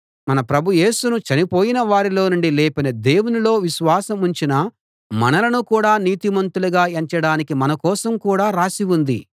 మన ప్రభు యేసును చనిపోయిన వారిలో నుండి లేపిన దేవునిలో విశ్వాసం ఉంచిన మనలను కూడా నీతిమంతులుగా ఎంచడానికి మన కోసం కూడా రాసి ఉంది